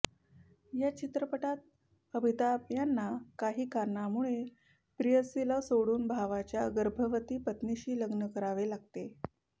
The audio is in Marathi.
या चित्रपटात अमिताभ यांना काही कारणांमुळे प्रेयसीला सोडून भावाच्या गर्भवती पत्नीशी लग्न करावे लागते